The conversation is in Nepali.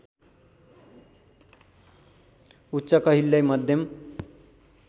उच्च कहिल्यै मध्यम